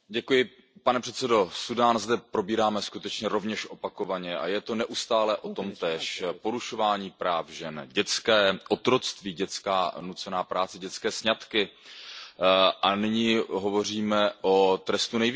Pane předsedající, Súdán zde probíráme skutečně rovněž opakovaně a je to neustále o tomtéž, porušování práv žen, dětské otroctví, dětská nucená práce, dětské sňatky a nyní hovoříme o trestu nejvyšším.